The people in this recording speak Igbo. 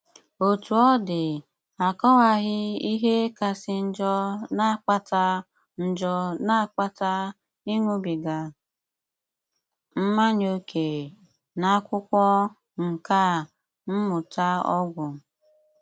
Otú ọ̀ dị, à kọwàghị ìhé kàsí njọ́ na-àkpàtá njọ́ na-àkpàtá ị̀ṅụ́bígà mmànyà ókè n'akwụ́kwọ nkà mmụ̀tá ọgwụ.